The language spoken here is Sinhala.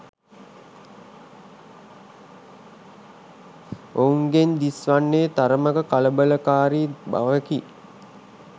ඔවුන්ගෙන් දිස්වන්නේ තරමක කලබලකාරි බවකි.